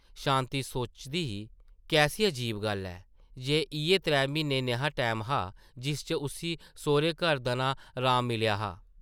शांति सोचदी ही कैसी अजीब गल्ल ऐ, जे इʼयै त्रै म्हीन्ने नेहा टैम हा जिस च उस्सी सौह्रै-घर दनां राम मिलेआ हा ।